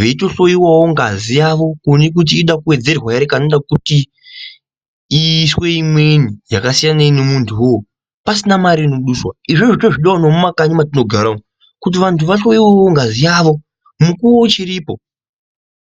veito hloyewawo ngazi yavo kuone kuti inoda kuwedzerwa ere kana kuti iiswe imweni yakasiyanei nemuntu uwowo pasina mare inoduswa izvozvo tozvidawo nemumakanyi matinogara kuti vantu vahloyewewo ngazi yavo mukuwo uchiripo.